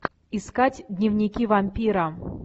искать дневники вампира